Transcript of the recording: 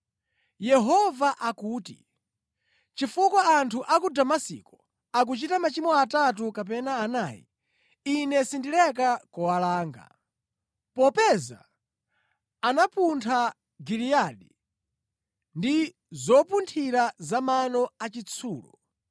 Yehova akuti, “Chifukwa anthu a ku Damasiko akunka nachimwirachimwira, Ine sindileka kuwalanga. Popeza anapuntha Giliyadi ndi zopunthira za mano achitsulo,